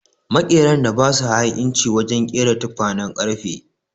Makeran da ba su ha'inci wajen ƙera tukwanen ƙarfe.